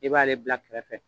I b'ale bila kɛrɛfɛ